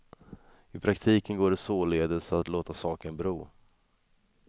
I praktiken går det således att låta saken bero.